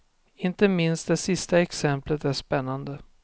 Inte minst det sista exemplet är spännande.